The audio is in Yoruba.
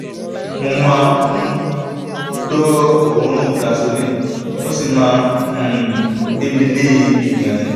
mo ma um n gbọ́ oorun gasoline o si ma n um gbe mi leebi gan-an